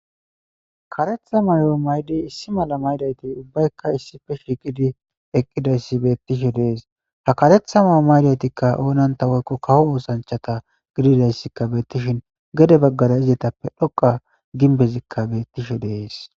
kareththa mayo maydi issi mala maydayti ubbaykka issife shiigidi eqqidayssi bettiishshe de'ees ha kareththa ma'o maydaytikka oonanta woykko kawo oosanchata gididayssikka beetishshin gede baggara izitappe dhoqqa ginbezikka beetiishshe de'ees